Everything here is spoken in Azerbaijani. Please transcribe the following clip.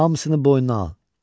Hamısını boynuna al.